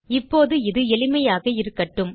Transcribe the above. இப்போது இது எளிமையாக இருக்கட்டும்